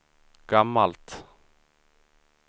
gammalt